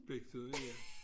Bliktuden ja